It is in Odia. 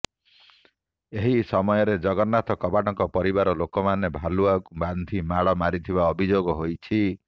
ଏହି ସମୟରେ ଜଗନ୍ନାଥ କବାଟଙ୍କ ପରିବାର ଲୋକେ ଭାଲୁଆକୁ ବାନ୍ଧି ମାଡ଼ ମାରିଥିବା ଅଭିଯୋଗ ହୋଇଛି